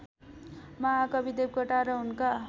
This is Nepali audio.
महाकवि देवकोटा र उनका